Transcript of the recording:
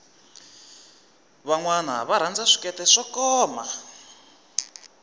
vanwana va rhanza swikete swo koma